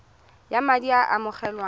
ya madi a a amogelwang